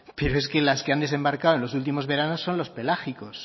pero es que las que han desembarcado en los últimos veranos son los pelágicos